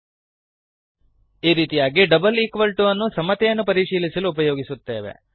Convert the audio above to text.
ಈ ರೀತಿಯಾಗಿ double equal to double equal to ಅನ್ನು ಸಮತೆಯನ್ನು ಪರಿಶೀಲಿಸಲು ಉಪಯೋಗಿಸುತ್ತೇವೆ